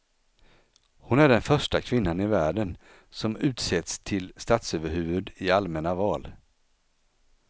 Hon är den första kvinnan i världen som utsetts till statsöverhuvud i allmänna val.